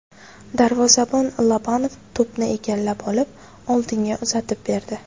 Darvozabon Lobanov to‘pni egallab olib, oldinga uzatib berdi.